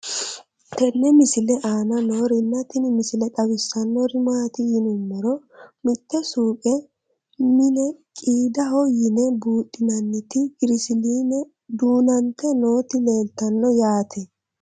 tenne misile aana noorina tini misile xawissannori maati yinummoro mitte suuqqe mine qiidaho yinne buudhinnannitti girisiliinne duunante nootti leelittanno yaatte